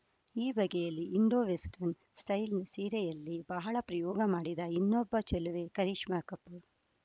ಈ ಬಗೆಯ Indo western style ಸೀರೆಯಲ್ಲಿ ಬಹಳ ಪ್ರಯೋಗ ಮಾಡಿದ ಇನ್ನೊಬ್ಬ ಚೆಲುವೆ ಕರೀಶ್ಮಾ ಕಪೂರ್‌